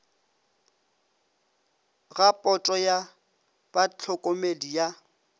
ga poto ya bahlokomedi ya